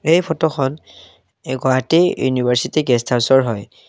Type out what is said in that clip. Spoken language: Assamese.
এই ফটো এহ গুৱাহাটী ইউনিভাৰ্ছিটি গেষ্ট হাউচৰ হয়।